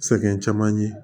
Sɛgɛn caman ye